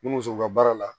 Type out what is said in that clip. Ni muso ka baara la